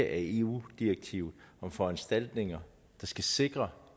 af eu direktivet om foranstaltninger der skal sikre